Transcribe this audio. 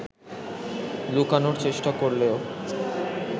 লুকানোর চেষ্টা করলেও